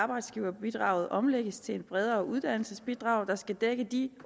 arbejdsgiverbidraget omlægges til et bredere uddannelsesbidrag der skal dække de